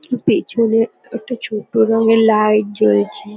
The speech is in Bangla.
উম পেছনে একটা ছোট্ট রঙের লাইট জ্বলছে।